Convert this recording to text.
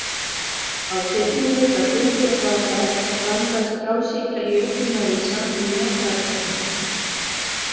Á seinni hluta tuttugasta aldar blandaðist frjálshyggja í auknum mæli saman við jafnaðarstefnu.